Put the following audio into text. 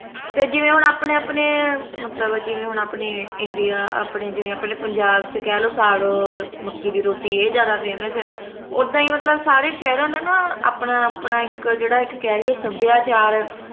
ਤੇ ਜਿਵੇ ਹੁਣ ਆਪਣੇ ਆਪਣੇ ਮਤਲਬ ਜਿਵੇ ਹੁਣ ਆਪਣੇ ਇੰਡੀਆ ਆਪਣੇ ਜਿਵੇ ਆਪਣੇ ਪੰਜਾਬ ਚੱ ਕਹਿ ਲੋ ਸਾਗ ਮੱਕੇ ਦੀ ਰੋਟੀ ਏ ਜਾਦਾ famous ਆ ਓਦਾ ਹੀ ਮਤਲਬ ਸਾਰੇ ਸ਼ਹਿਰਾਂ ਦਾ ਨਾ ਆਪਣਾ ਆਪਣਾ ਇਕ ਜਿਹੜਾ ਇਕ ਕਹਿ ਲਈਏ ਸੱਭਿਆਚਾਰ